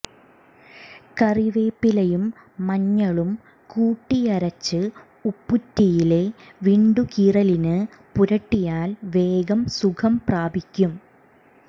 കറിവേപ്പിലയും മഞ്ഞളും കൂട്ടിയരച്ച് ഉപ്പൂറ്റിയിലെ വിണ്ടുകീറലിന് പുരട്ടിയാൽ വേഗം സുഖം പ്രാപിക്കും